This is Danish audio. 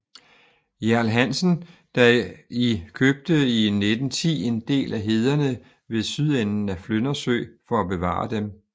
Hjerl Hansen der i købte i 1910 en del af hederne ved sydenden af Flyndersø for at bevare dem